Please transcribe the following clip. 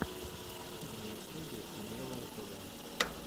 на ютюбе умелое тв